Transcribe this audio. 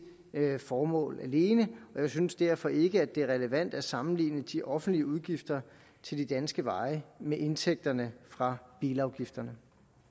formål alene og jeg synes derfor ikke at det er relevant at sammenligne de offentlige udgifter til de danske veje med indtægterne fra bilafgifterne